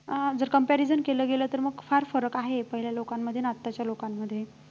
अं जर comparison केलं गेलं तर मग फार फरक आहे पहिल्या लोकांमध्ये आणि आताच्या लोकांमध्ये